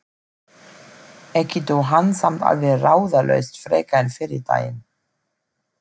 Ekki dó hann samt alveg ráðalaus frekar en fyrri daginn.